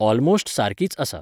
almost सारकीच आसा